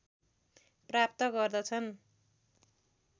प्राप्त गर्दछन्